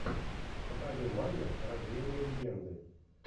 покажи майя рождение легенды